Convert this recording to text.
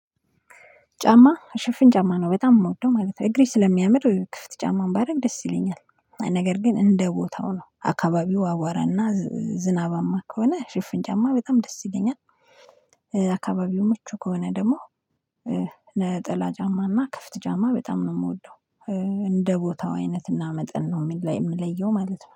ጫማ ሽፍን ጫማ ነው በጣም የምወደው ማለት ነው እግሬ ስለሚያምር ክፍት ጫማን ባደርግ ደስ ይለኛል። ነገር ግን እንደ ቦታው ነው አካባቢው አዋረና ዝናባማ ከሆነ ሽፍን ጫማ በጣም ደስ ይለኛል። አካባቢው ምቹ ከሆነ ደግሞ ነጠላ ጫማና ክፍት ጫማ በጣም ነው የምወደው። እንደ ቦታው አይነትና መጠን ነው የምለየው ማለት ነው